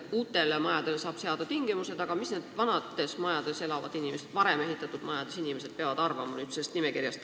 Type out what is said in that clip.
Uutele majadele saab seada tingimused, aga mida peavad sellest nimekirjast arvama vanades majades elavad inimesed?